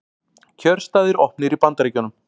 Kjörstaðir opnir í Bandaríkjunum